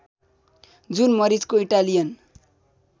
जुन मरिचको इटालियन